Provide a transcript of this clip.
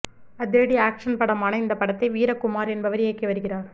அதிரடி ஆக்சன் படமான இந்த படத்தை வீரக்குமார் என்பவர் இயக்கி வருகிறார்